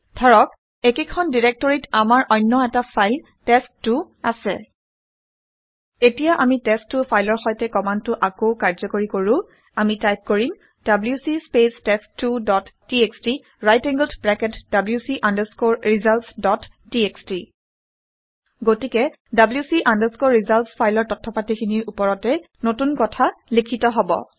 ধৰক একেখন ডাইৰাক্টৰীত আমাৰ অন্য এটা ফাইল টেষ্ট ২ টেষ্ট 2 আছে। এতিয়া আমি টেষ্ট ২ টেষ্ট 2 ফাইলৰ সৈতে কামাণ্ডটো আকৌ কাৰ্ঘ্যকৰী কৰো। আমি টাইপ কৰিম - ডব্লিউচি স্পেচ টেষ্ট2 dot TXT right angled bracket wc results dot TXT গতিকে wc results ফাইলৰ তথ্য পাতিখিনিৰ ওপৰতে নতুন কথা লিখিত হব